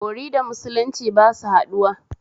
Bori da musulunci ba su haɗuwa